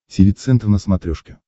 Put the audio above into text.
тиви центр на смотрешке